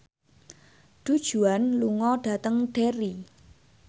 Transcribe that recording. Du Juan lunga dhateng Derry